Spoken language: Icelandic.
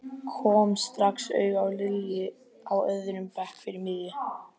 Kom strax auga á Lilju á öðrum bekk fyrir miðju.